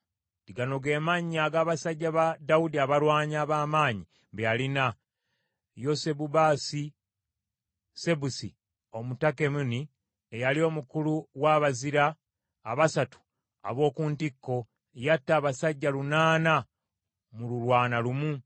Gano ge mannya ag’abasajja ba Dawudi abalwanyi ab’amaanyi be yalina: Yosebu-Basusebesi Omutakemoni eyali omukulu wa bazira abasatu ab’oku ntikko; yatta abasajja lunaana mu lulumbagana lumu.